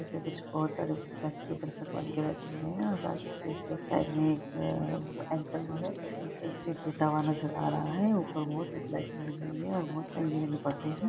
इसपे कुछ बहुत सारे बनके बैठे हुए है ऊपर एक एंकर भी है जो स्पीच देता हुआ नज़र आ रहा है। ऊपर बहुत लाइटिंग लगी हुई है और बहुत रंग बिरंगे पर्दे है।